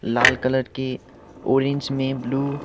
लाल colour की orange में blue --